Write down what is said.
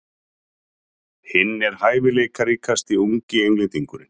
Hann er hæfileikaríkasti ungi Englendingurinn.